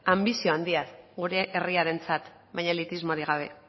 anbizio handia gure herriarentzat baina elitismorik gabe